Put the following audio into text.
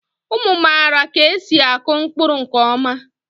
Ụmụ mara ka esi akụ mkpụrụ nke ọma